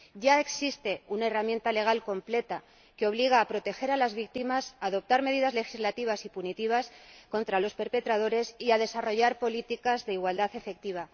Ya existe una herramienta legal completa que obliga a proteger a las víctimas, a adoptar medidas legislativas y punitivas contra los perpetradores y a desarrollar políticas de igualdad efectiva.